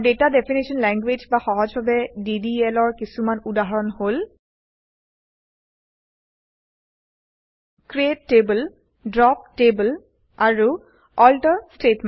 আৰু data definition language বা সহজভাৱে ডিডিএল ৰ কিছুমান উদাহৰণ হল ক্ৰিএট টেবল ড্ৰপ টেবল আৰু আল্টাৰ statements